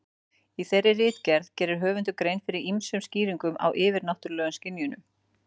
Í þeirri ritgerð gerir höfundur grein fyrir ýmsum skýringum á yfirnáttúrulegum skynjunum.